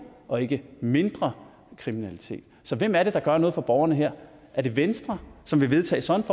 og ikke mindre kriminalitet så hvem er det der gør noget for borgerne her er det venstre som vil vedtage sådan